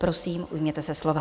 Prosím, ujměte se slova.